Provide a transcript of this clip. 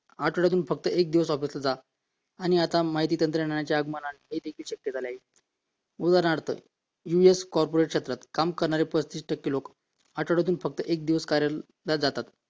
आठवड्यातून फक्त एकच दिवस ऑफिसला जा आणि आता हे देखील माहिती तंत्रज्ञानाच्या आगमनाने हे देखील शक्य झालेले आहे उदाहरणार्थ US corporate क्षेत्रात काम करणारे पस्तीस टक्के लोक आठवड्यातून फक्त एक दिवस कार्यालयात जातात